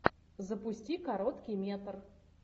запусти короткий метр